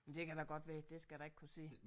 Men det kan da godt være det skal jeg da ikke kunne sige